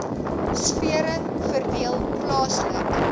sfere verdeel plaaslik